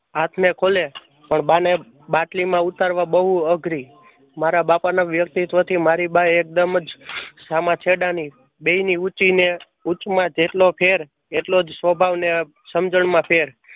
ખુલે પણ બા ને બાટલી માં ઉતારવી બઉ અઘરી. મારા બાપા ને વ્યક્તિત્વથી મારી બા એકદમજ સામ છેડા ની બેય ની જેટલો ફેર એટલો સ્વભાવ અને સમજણ માં ફેર